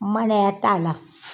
Mananya t'a la.